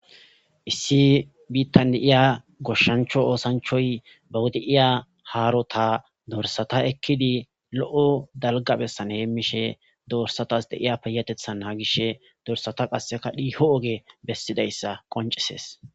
Issi biittan de7iya goshshancho oosanchay ,bawu de7iya haarota dorsata ekkidi lo7o dalga biittan heemmishe de7iyayssanne dorssatas de7iya payyatetha naagishe,dorsata qasse dhiiho oge bessidayssa qoncisees.